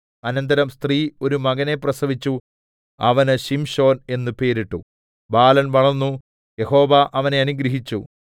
അനന്തരം സ്ത്രീ ഒരു മകനെ പ്രസവിച്ചു അവന് ശിംശോൻ എന്ന് പേരിട്ടു ബാലൻ വളർന്നു യഹോവ അവനെ അനുഗ്രഹിച്ചു